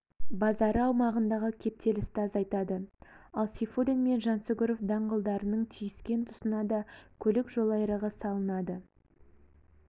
базары аумағындағы кептелісті азайтады ал сейфуллин мен жансүгіров даңғылдарының түйіскен тұсына да көлік жолайрығы салынады